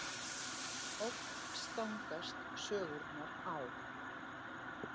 Oft stangast sögurnar á.